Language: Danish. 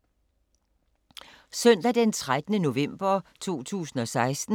Søndag d. 13. november 2016